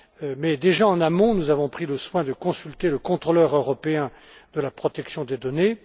Mais en amont, nous avons déjà pris soin de consulter le contrôleur européen de la protection des données.